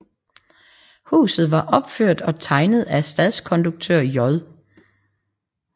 Huset var opført og tegnet af stadskonduktør J